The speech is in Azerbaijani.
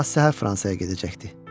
Sabah səhər Fransaya gedəcəkdi.